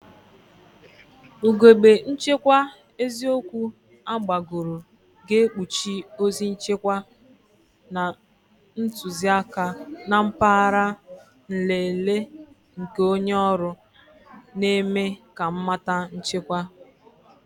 Ugogbe nchekwa eziokwu agbagoro ga-ekpuchi ozi nchekwa na ntuziaka na mpaghara nlele nke onye ọrụ, na-eme ka mmata nchekwa.